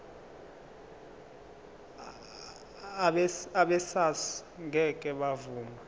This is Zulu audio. abesars ngeke bavuma